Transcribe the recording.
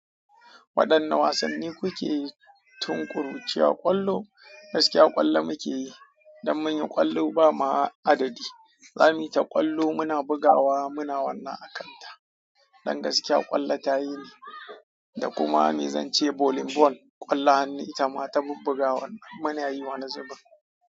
Waɗanne wasanni kuke tun ƙuruciya? Ƙwallo, gaskiya ƙwallo muke yi. Don mun yi ƙwallo ba ma adadi. Zamu yi ta ƙwallo, muna bugawa muna wannan a kanta. Don gaskiya ƙwallo tayi ne. Da kuma mai zance volleyball, ƙwallon hannu itama ta bubbugawar nan. Muna yi wani zubin.